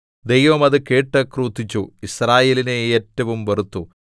ദൈവം അത് കേട്ട് ക്രുദ്ധിച്ചു യിസ്രായേലിനെ ഏറ്റവും വെറുത്തു